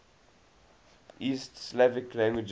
east slavic languages